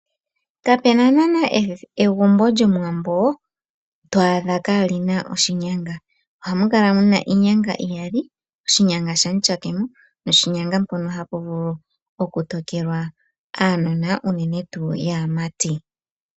Kape na naanaa egumbo lyOmuwambo to adha kaali na oshinyanga. Ohamu kala mu na iinyanga iyali oshinyanga shamutyakemo noshinyanga mpono hapu vulu okutokelwa aanona unene tuu yaamati.